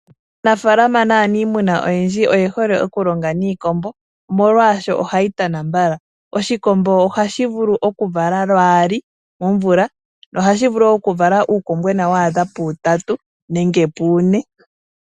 Aanafaalama naa niimuna oyendji oye hole okulonga niikombo, molwaasho ohayi tana mbala. Oshikombo ohashi vulu okuvala lwaali momvula, nohashi vulu wo okuvala uukombwena wa adha puutatu, nenge une.